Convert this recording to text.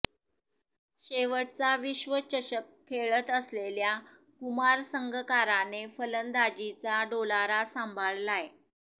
शेवटचा विश्वचषक खेळत असलेल्या कुमार संगकाराने फलंदाजीचा डोलारा सांभाळलाय